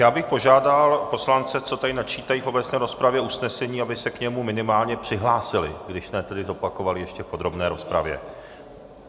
Já bych požádal poslance, co tady načítají v obecné rozpravě usnesení, aby se k němu minimálně přihlásili, když ne tedy zopakovali, ještě v podrobné rozpravě.